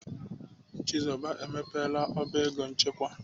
Chizoba emepela ọba ego nchekwa.